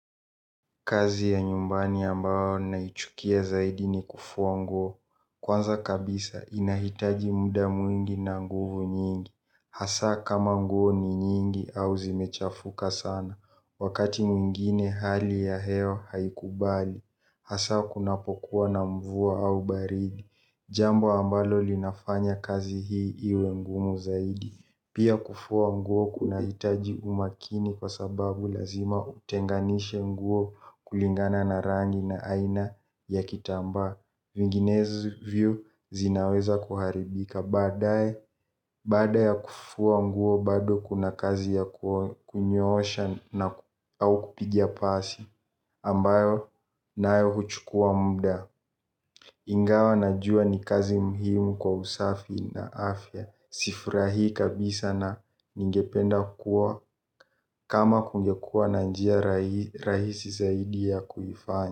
Kazi ya nyumbani ambao naichukia zaidi ni kufua nguo, kwanza kabisa inahitaji muda mwingi na nguvu nyingi, hasa kama nguo ni nyingi au zimechafuka sana, wakati mwingine hali ya hewa haikubali, hasa kuna pokuwa na mvua au baridi, jambo ambalo linafanya kazi hii iwe ngumu zaidi. Pia kufua nguo kunahitaji umakini kwa sababu lazima utenganishe nguo kulingana na rangi na aina ya kitamba. Vinginezi vyi zinaweza kuharibika. Baada ya kufua nguo bado kuna kazi ya kunyoosha au kupigia pasi ambayo nayo huchukua muda. Ingawa na jua ni kazi muhimu kwa usafi na afya sifurahi kabisa na ningependa kukua kama kungekua na njia rahisi zaidi ya kuifanya.